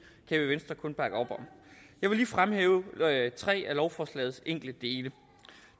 i venstre kun bakke op om jeg vil lige fremhæve tre af lovforslagets enkelte dele